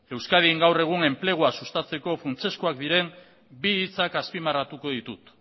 euskadin gaur egun enplegua sustatzeko funtsezkoak diren bi hitzak azpimarratuko ditut